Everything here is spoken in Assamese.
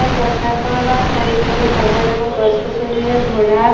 পথাৰখনৰ চাৰিওফালে ডাঙৰ-ডাঙৰ গছ-গছনিৰে ভৰা।